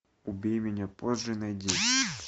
убей меня позже найди